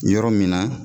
Yɔrɔ min na